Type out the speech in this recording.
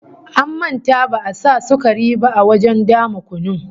An manta ba'a sa sukari ba a wajen dama kunun